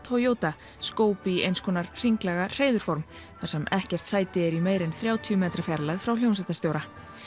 Toyota skóp í eins konar hringlaga þar sem ekkert sæti er í meira en þrjátíu metra fjarlægð frá hljómsveitarstjóra